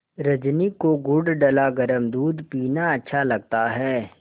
रजनी को गुड़ डला गरम दूध पीना अच्छा लगता है